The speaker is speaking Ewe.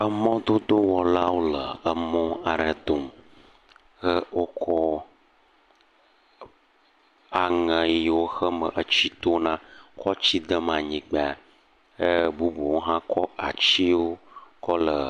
Emɔdodowɔlawo le emɔ aɖe dom, eye wokɔ aŋe yiwo xeme etsi tona kɔ tsi dem anyigba he bubuwo hã kɔ atiwo kɔ le